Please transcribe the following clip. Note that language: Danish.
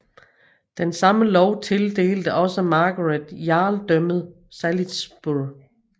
Den samme lov tildelte også Margaret Jarldømmet Salisbury